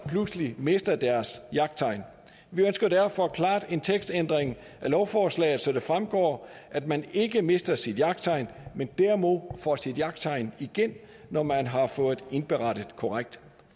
pludselig mister deres jagttegn vi ønsker derfor klart en tekstændring af lovforslaget så det fremgår at man ikke mister sit jagttegn men derimod får sit jagttegn igen når man har fået indberettet korrekt